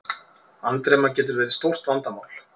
Andremma getur verið stórt vandamál.